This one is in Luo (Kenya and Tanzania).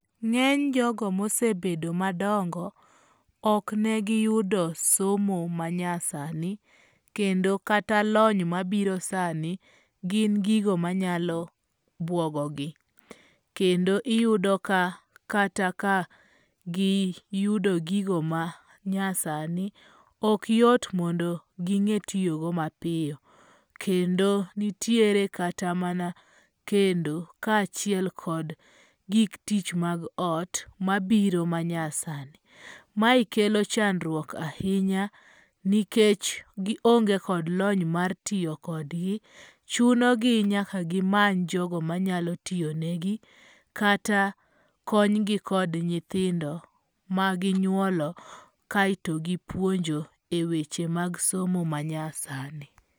Ng'eny jogo mosebedo madongo, ok ne giyudo somo manyasani, kendo kata lony mabiro sani, gin gigo manyalo buogo gi. Kendo iyudo ka kata ka giyudo gigo manyasani, ok yot mondo ging'e tiyogo mapiyo. Kendo nitiere kata mana kendo kaachiel kod gik tich mag ot mabiro manyasani. Mae kelo chandruok nikech gionge kod lony mar tiyo kodgi. Chunogi nyaka gimany jogo manyalo tiyo negi kata konygi kod nyithindo ma ginyuolo kaeto gipuonjo eweche mag somo ma nyasani.